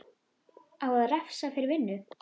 Á að refsa fyrir vinnu?